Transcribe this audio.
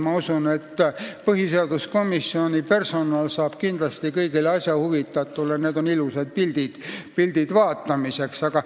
Ma usun, et põhiseaduskomisjoni personal saab kindlasti kõigile asjast huvitatutele need ilusad pildid vaatamiseks saata.